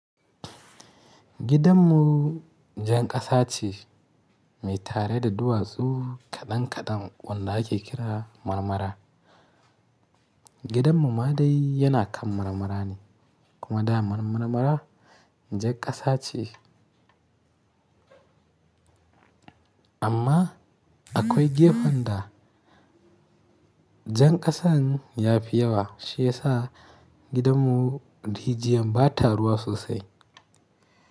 Gidanmu jan ƙasa ce mai tare da duwatsu kaɗan kaɗan wanda ake kira marmara. Gidanmu ma dai yana kan marmara ne kuma dama marmara jan ƙasa ce. Amma akwai gefen da jan ƙasan ya fi yawa shi ya sa gidanmu rijiyan ba ta ruwa sosai.